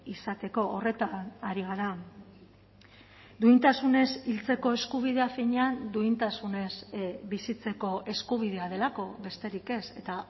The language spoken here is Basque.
izateko horretan ari gara duintasunez hiltzeko eskubidea finean duintasunez bizitzeko eskubidea delako besterik ez eta